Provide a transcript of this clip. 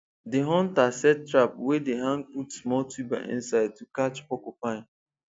the hunter set trap wey dey hang put small tuber inside to catch porcupine